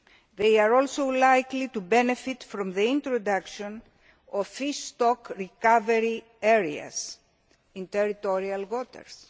of it. They are also likely to benefit from the introduction of fish stock recovery areas in territorial